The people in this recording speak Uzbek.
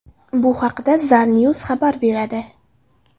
Bu haqda Zarnews xabar beradi .